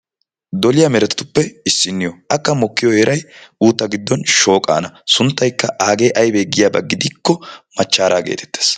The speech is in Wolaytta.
Doliya meretatuppe issinniyo. Akka mokkiyo heeray uutta giddon shooqaana. Sunttaykka aagee aybee giyaba gidikko machchaaraa geetettees.